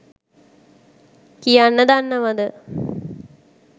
කියන්න දන්නවද?